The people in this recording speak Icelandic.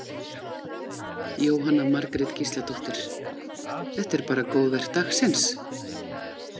Jóhanna Margrét Gísladóttir: Þetta er bara góðverk dagsins?